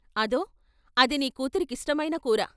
అదో, అది నీ కూతురి కిష్టమైన కూర.